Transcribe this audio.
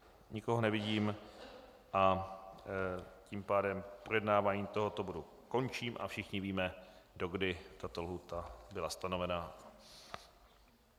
Nikoho nevidím, a tím pádem projednávání tohoto bodu končím a všichni víme, do kdy tato lhůta byla stanovena.